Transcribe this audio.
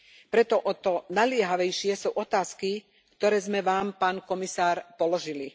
Preto o to naliehavejšie sú otázky, ktoré sme Vám, pán komisár, položili.